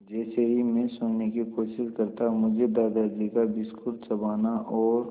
जैसे ही मैं सोने की कोशिश करता मुझे दादाजी का बिस्कुट चबाना और